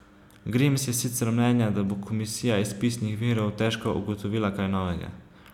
Grims je sicer mnenja, da bo komisija iz pisnih virov težko ugotovila kaj novega.